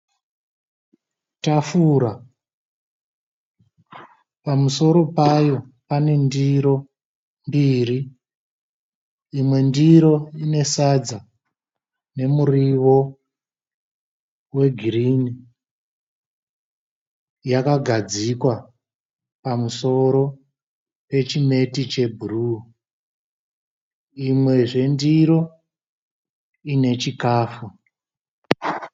Tafura. Pamusoro payo pane ndiro mbiri. Imwe ndiro ine sadza nemuriwo wegirini yakagadzikwa pamusoro pechimeti chebhuruu. Imwezve ndiro ine chikafu.